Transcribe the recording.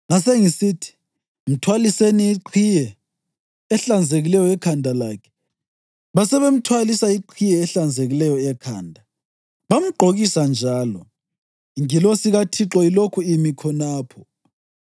Ngasengisithi, “Mthwaliseni iqhiye ehlanzekileyo ekhanda lakhe.” Basebemthwalisa iqhiye ehlanzekileyo ekhanda, bamgqokisa njalo, ingilosi kaThixo ilokhu imi khonapho.